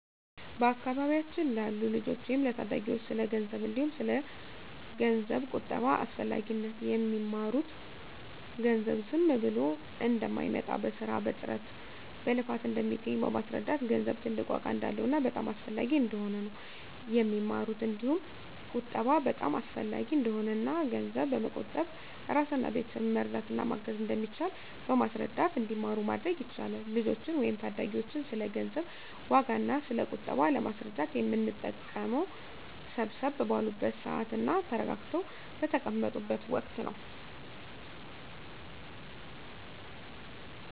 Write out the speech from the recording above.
በአካባቢያችን ላሉ ልጆች ወይም ለታዳጊዎች ስለ ገንዘብ እንዲሁም ስለ ገንዘብ ቁጠባ አስፈላጊነት የሚማሩት ገንዘብ ዝም ብሎ እንደማይመጣ በስራ በጥረት በልፋት እንደሚገኝ በማስረዳት ገንዘብ ትልቅ ዋጋ እንዳለውና በጣም አስፈላጊ እንደሆነ ነው የሚማሩት እንዲሁም ቁጠባ በጣም አሰፈላጊ እንደሆነና እና ገንዘብ በመቆጠብ እራስንና ቤተሰብን መርዳት እና ማገዝ እንደሚቻል በማስረዳት እንዲማሩ ማድረግ ይቻላል። ልጆችን ወይም ታዳጊዎችን ስለ ገንዘብ ዋጋ እና ስለ ቁጠባ ለማስረዳት የምንጠቀመው ሰብሰብ ባሉበት ስዓት እና ተረጋግተው በተቀመጡት ወቀት ነው።